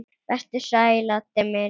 Vertu sæll, Addi minn.